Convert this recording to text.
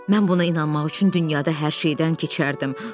Mən buna inanmaq üçün dünyada hər şeydən keçərdim.